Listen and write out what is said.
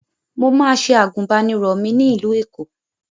Mo máa se àgùbánirọ̀ mi ní ìlú Èkó